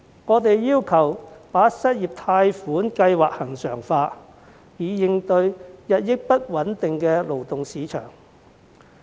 我們要求把失業貸款計劃恆常化，以應對日益不穩定的勞動市場。